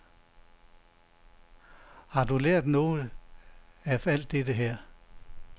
Har du lært noget af alt det her?